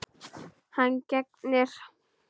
Hann gegnir.